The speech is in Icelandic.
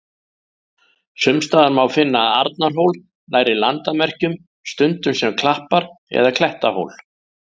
Sums staðar má finna Arnarhól nærri landamerkjum, stundum sem klappar- eða klettahól.